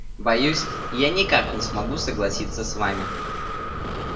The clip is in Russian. боюсь я никак не смогу согласиться с вами